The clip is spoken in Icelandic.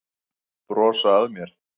Brosa að mér!